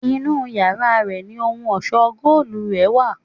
Inú yàrá rẹ̀ ni ohun ọ̀ṣọ́ góòlù rè wà.